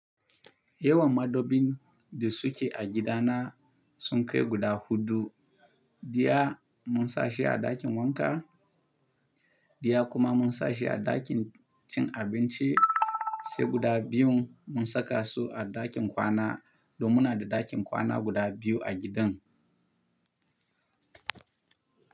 Yawan madobin da suke a gidana sun kai guda huɗu. Daya mun sashi a ɗakin wanka, daya kuma mun sashi a ɗakin cin abinci. Sai guda biyun mun saka su a ɗakin kwana, domin muna da ɗakin kwana guda biyu a gidan.